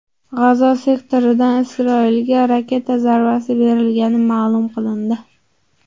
G‘azo sektoridan Isroilga raketa zarbasi berilgani ma’lum qilindi.